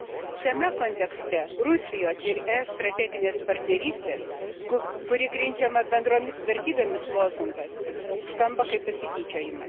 Šiame kontekste Rusijos ir ES strateginės partnerystės, kuri grindžiama bendromis vertybėmis, lozungas skamba kaip pasityčiojimas.